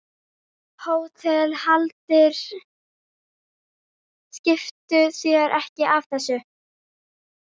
HÓTELHALDARI: Skiptu þér ekki af þessu.